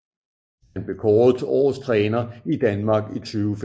Han blev kåret til årets træner i Danmark i 2015